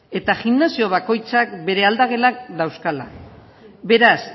eta gimnasio bakoitzak bere aldagelak dauzkala beraz